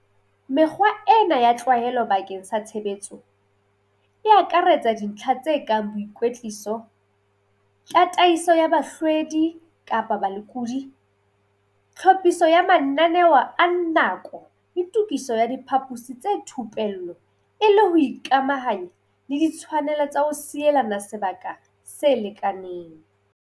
Mekgwa ena ya tlwaelo bakeng sa tshebetso, e akaretsa dintlha tse kang boikwetliso, tataiso ya bahlwedi kapa balekodi, tlhophiso ya mananeo a nako le tokiso ya diphaposi tsa thupello e le ho ikamahanya le ditshwanelo tsa ho sielana sebaka se lekaneng.